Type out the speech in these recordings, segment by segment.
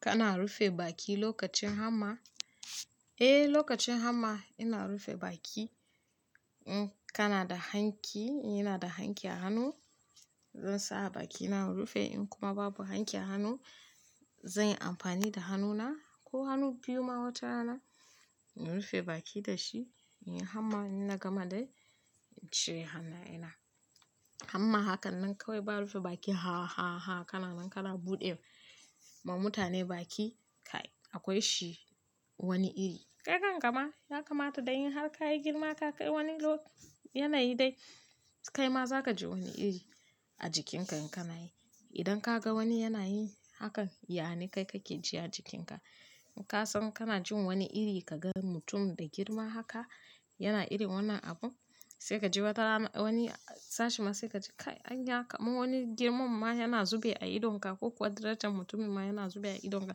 Kana rufe baki lokacin hamma? Eh, lokacin hamma ina rufe baki. In kana da hanki, ina da hanki a hannu zan sa a bakina in rufe. In kuma babu hanki a hannu, zan yi amfani da hannuna ko hannu biyu ma watarana na rufe baki da shi. Hamma ina gama da cire hannaye na. Hamma haka nan kawai ba rufe baki ha, ha, ha kananan kana buɗe ma mutane baki kai. Akwai shi wani iri. Kai kan kabma ya kamata dai in har ka yi girma ka kai wani lyanayi dai kaima za ka ji wani iri a jikinka in kana yi. Idan ka ga wani yana yi hakan, ya ne kai kake ji a jikinka. Kasan kana jin wani iri ka ga mutum da girma haka yana irin wannan abun sai ka ji wata rana wani sashin ma sai ka ji kai anya kama wani girman ma yana zube a idonka ko kuwa darajan mutumin ma yana zube a idonka. Don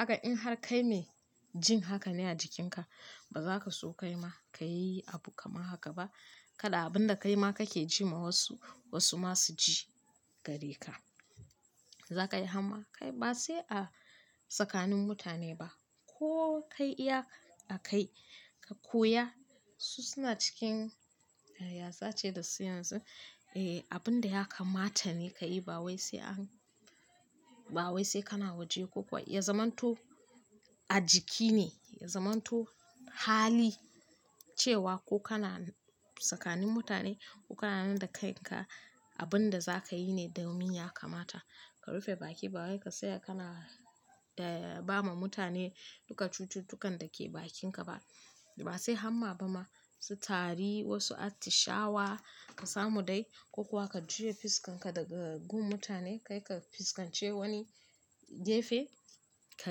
haka in har kai mai jin haka ne a jikinka, ba za ka so kaima ka yi abu kaman haka ba. Kada abin da kaima kake ji ma wasu, wasu ma su ji gare ka. Za ka yi hamma kai ba sai a tsakanin mutane ba ko kai iya a kai ka koya su suna cikin, eh, yaya za a ce da su yanzu, eh, abun da ya kamata ne ka yi ba wai sai an, ba wai sai kana waje ko kuwa ya zamanto a jiki ne, ya zamanto hali cewa ko kana tsakanin mutane ko kana nan da kaika abin da za ka yi ne, domin ya kamata. Ka rufe baki ba wai ka saya kana, eh, ba ma mutane duka cututtukan da ke bakinka ba. Ba sai hamma ba ma su tari wasu atishawa ka samu dai ko kuwa ka juya fuskanka daga gun mutane kai ka fuskance wani gefe ka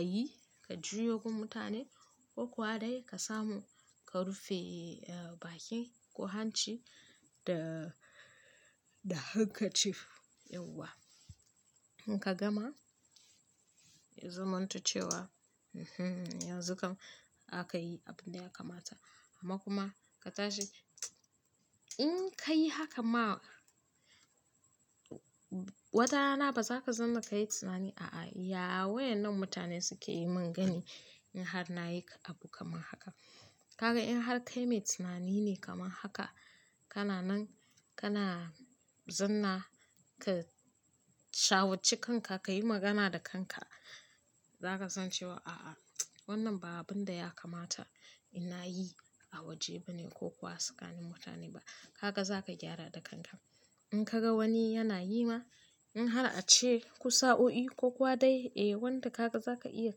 yi, ka juya gun mutane ko kuwa dai ka samu ka rufe, eh, baki ko hanci da, da handkerchief yauwa. In ka gama ya zamanto cewa, "Hmm, yanzu kam zaka yi abun da ya kamata." amma kuma ka tashi in ka yi haka ma watarana ba za ka zanna ka yi tunani, "A'a, ya wayenan mutane suke yi mun gani in har na yi abu kamar haka?" kaga in har kai mai tunani ne kamar haka, kana nan kana zanna ka shawarci kanka, ka yi magana da kanka. Za ka san cewa a'a, wannan ba abin da ya kamata ina yi a waje bane ko kuwa tsakanin mutane ba. Haka za ka gyara da kanka. In ka ga wani yana yi ma in har ace ku sa oi ko kuwa dai, eh, wanda kaga za ka iya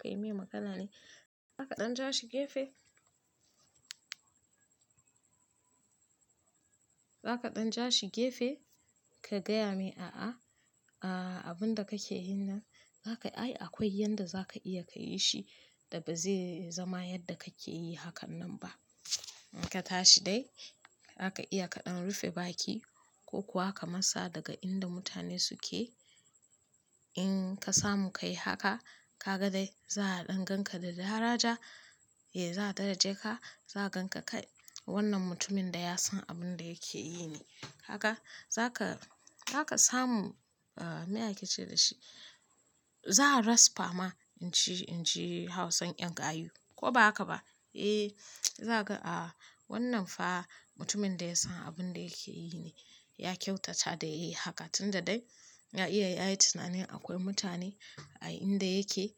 kai mai magana ne. Za ka ɗan ja shi gefe. Za ka ɗan ja shi gefe ka gaya mai, "A'a, abin da kake yi nan za ka, ai akwai yanda za ka iya ka yi shi da ba zai zama yadda kake yi hakan nan ba." In ka tashi dai zaka iya kaɗan rufe baki ko kuwa ka masa daga inda mutane suke. In ka samu ka yi haka, ka ga dai za a ɗan gan ka da daraja. Eh, za a daraje ka, za a gan ka kai wannan mutumin da ya san abin da yake yi ne. Kaga za ka, za ka samu, ah, meye a ke ce da shi. Za a resper ma inji, inji hausan 'yan gayu ko ba haka ba. Eh, za a ga, a, wannan fa mutumin da ya san abin da yake yi ne. Ya kyautata da yi haka tun da dai ya iya ya yi tunanin akwai mutane a inda yake.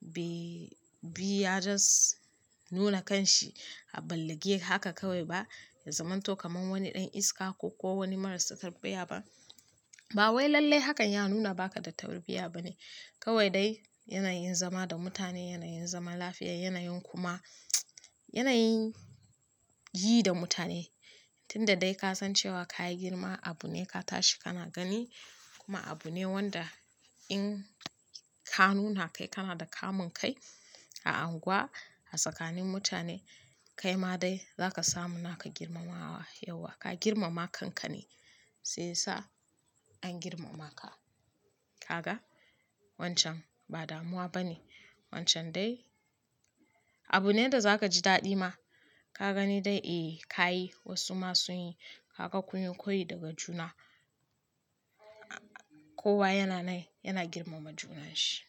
Bai, bai ya just nuna kan shi a balage haka kawai ba, ya zamanto kamar wani ɗan iska ko, ko wani marasa tarbiyya ba. Ba wai lalle hakan ya nuna baka da tarbiyya ba ne. Kawai dai yanayin zama da mutane, yanayin zaman lafiya, yanayin kuma yanayin yi da mutane. Tun da dai ka san cewa ka yi girma abu ne ka tashi kana gani kuma abu ne wanda in ka nuna kai kana da kamun kai a unguwa, a tsakanin mutane, kaima dai za ka samu naka girmamawa yauwa. Ka girmama kanka ne sai ya sa an girmama ka. Kaga wancan ba damuwa ba ne. Wancan dai abu ne da za ka ji daɗi ma. Ka gani dai, eh, ka yi wasu ma sun yi. Kaga kunyo koyi daga juna. Kowa yana nan, yana girmama junan shi.